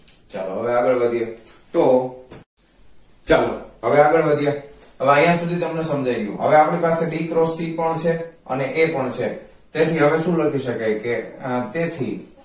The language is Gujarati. ચાલો હવે આગળ વધીએ તો ચાલો હવે આગળ વધીએ હવે આયા સુધી તમને સમજાય ગયુ હવે આપણી પાસે b cross c પણ છે અને a પણ છે તેથી શું લખી શકાય કે તેથી